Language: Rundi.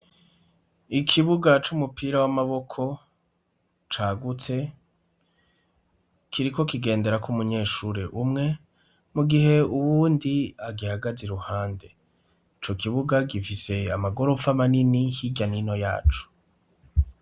Ikibuga c'umupira w'amaboko cagutse kiriko kigenderako umunyeshure umwe mugihe uwundi agihagaze iruhande. Icokibuga gifise amagoropfa manini hirya nino yaco.